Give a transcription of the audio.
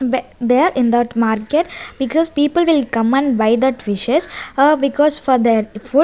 ba there in that market because people will come and buy that fishes ah because for their food.